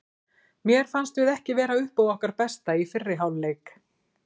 Mér fannst við ekki vera upp á okkar besta í fyrri hálf leik.